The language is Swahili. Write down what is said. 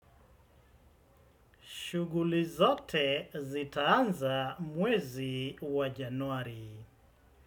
Shughuli zote zitaanza mwezi wa januari.